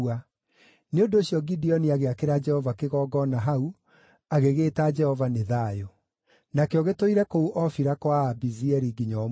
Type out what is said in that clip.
Nĩ ũndũ ũcio Gideoni agĩakĩra Jehova kĩgongona hau, agĩgĩĩta Jehova nĩ Thayũ. Nakĩo gĩtũire kũu Ofira kwa Aabiezeri nginya ũmũthĩ.